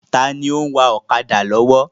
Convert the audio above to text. Taàní ó ń wá ọ̀kadà lọ́wọ́?